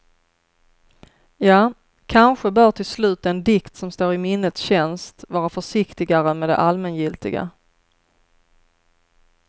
Ja, kanske bör till slut den dikt som står i minnets tjänst vara försiktigare med det allmängiltiga.